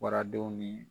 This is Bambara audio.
Waradenw ni